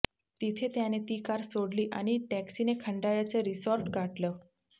तिथे त्याने ती कार सोडली आणि टॅक्सीने खंडाळ्याचं रिसॉर्ट गाठलं